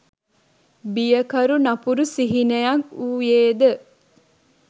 බියකරු නපුරු සිහිනයක් වුයේ ද?